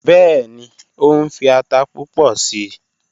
Bẹẹni, o nfi ata pupọ sii